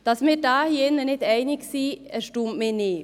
Dass wir uns hier drin nicht einig sind, erstaunt mich nicht.